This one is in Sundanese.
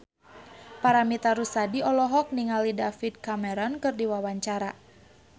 Paramitha Rusady olohok ningali David Cameron keur diwawancara